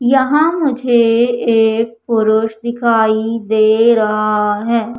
यहां मुझे एक पुरुष दिखाई दे रहा है।